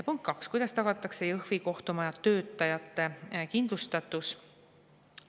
Punkt kaks: "Kuidas tagatakse Jõhvi kohtumaja töötajate kindlustatus?